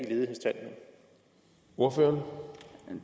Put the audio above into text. brug for